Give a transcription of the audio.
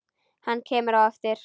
Hann kemur á eftir.